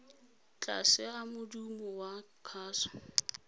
tlase a modumo wa kgaso